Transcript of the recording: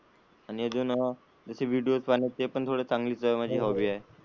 आणि अजून त्याची विडिओ पाहिलेय ते पण थोडे चांगले माझी हॉबी आहे.